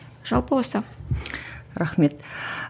жалпы осы рахмет